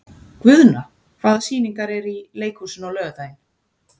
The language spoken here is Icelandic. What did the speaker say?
Guðna, hvaða sýningar eru í leikhúsinu á laugardaginn?